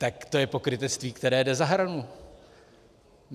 Tak to je pokrytectví, které jde za hranu.